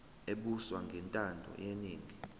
ebuswa ngentando yeningi